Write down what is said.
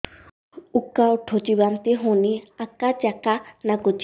ଉକା ଉଠୁଚି ବାନ୍ତି ହଉନି ଆକାଚାକା ନାଗୁଚି